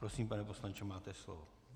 Prosím, pane poslanče, máte slovo.